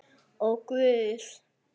Ó, Guð!